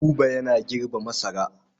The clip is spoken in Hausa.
Buba yana girbe masara.